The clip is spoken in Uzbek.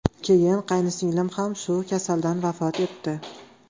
Keyin qayinsinglim ham shu kasaldan vafot etdi.